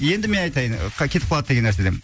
енді мен айтайын ы кетіп қалады деген нәрседен